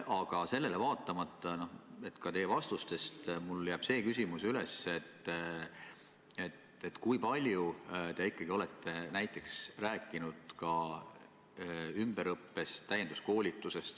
Aga vaatamata teie vastustele on mul jäänud küsimus, kui palju te ikkagi olete rääkinud ümberõppest ja täienduskoolitusest.